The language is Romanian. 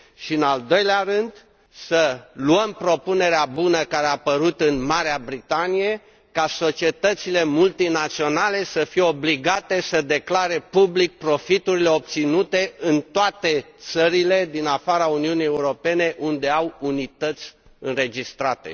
În al doilea rând, să luăm propunerea bună care a apărut în Marea Britanie ca societățile multinaționale să fie obligate să declare public profiturile obținute în toate țările din afara Uniunii Europene unde au unități înregistrate.